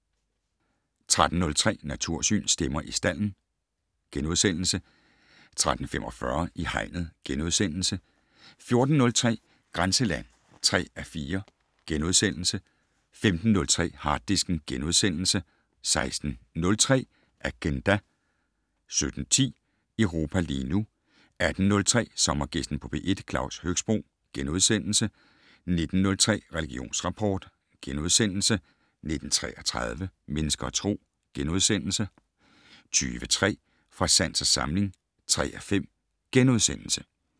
13:03: Natursyn: Stemmer i stalden * 13:45: I hegnet * 14:03: Grænseland (3:4)* 15:03: Harddisken * 16:03: Agenda 17:10: Europa lige nu 18:03: Sommergæsten på P1: Claus Høxbroe * 19:03: Religionsrapport * 19:33: Mennesker og Tro * 20:03: Fra sans og samling (3:5)*